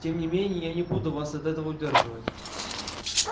тем не менее я не буду вас от этого удерживать